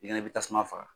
I kɛnɛ i bɛ tasuma faga